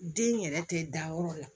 Den yɛrɛ tɛ da yɔrɔ la